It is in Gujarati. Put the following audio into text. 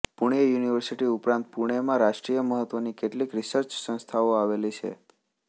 પુણે યુનિવર્સિટી ઉપરાંત પુણેમાં રાષ્ટ્રીય મહત્વની કેટલીક રિસર્ચ સંસ્થાઓ આવેલી છે